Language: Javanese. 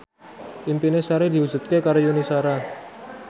impine Sari diwujudke karo Yuni Shara